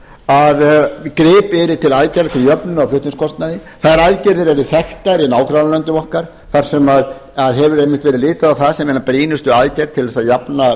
að gripið verði til aðgerða til jöfnunar á flutningskostnaði þær aðgerðir eru þekktar í nágrannalöndum okkar þar sem litið hefur verið á þetta sem eina brýnustu aðgerðina til að jafna